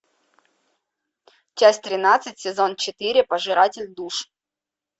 часть тринадцать сезон четыре пожиратель душ